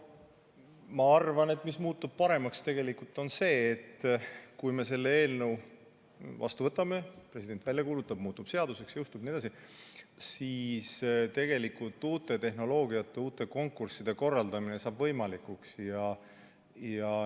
Ma arvan, et paremaks muutub tegelikult see, et kui me selle eelnõu vastu võtame, president selle välja kuulutab ja see muutub seaduseks, jõustub jne, siis uue tehnoloogia kasutamine ja uute konkursside korraldamine saab võimalikuks.